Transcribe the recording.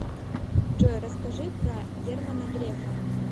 джой расскажи про германа грефа